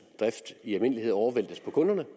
drift i almindelighed overvæltes på kunderne